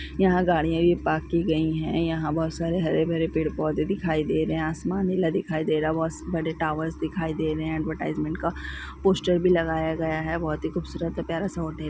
यहाँ गाड़िया भी पार्क की गई है यहाँ बहुत सारे हरे भरे पेड़ पौधे दिखाई दे रहे है आसमान नीला दिखाई दे रहा है बहुत बड़े टॉवर्स दिखाई दे रहे हैएडवेर्टीस्मेंट का पोस्टर भी लगाया गया है बहुत ही खूबसूरत प्यार सा होल्डिं--